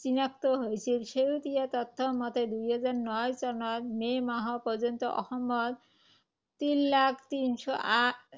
চিনাক্ত হৈছিল। শেহতীয়া তথ্য মতে, দুহেজাৰ ন চনৰ মে’ মাহ পৰ্যন্ত অসমত তিন লাখ তিন শ আঠ